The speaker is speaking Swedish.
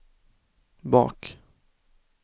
bak